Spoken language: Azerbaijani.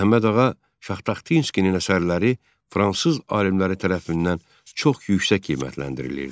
Məhəmməd Ağa Şahtaxtinskinin əsərləri fransız alimləri tərəfindən çox yüksək qiymətləndirilirdi.